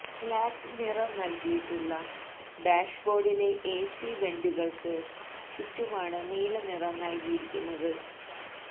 black നിറം നല്കിയിട്ടുള്ള ഡാഷ്ബോര്ഡിലെ എസി വെന്റുകള്ക്ക് ചുറ്റുമാണ് നീല നിറം നല്കിയിരിക്കുന്നത്